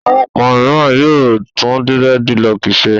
Àwọn ọkùnrin mìíràn yóò tún dírẹ́dilọọkì ṣe.